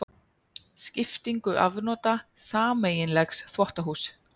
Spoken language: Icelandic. Skiptingu afnota sameiginlegs þvottahúss.